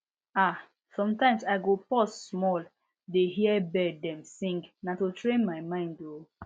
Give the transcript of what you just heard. ah sometimes i go pause small dey hear bird dem sing na to train my mind o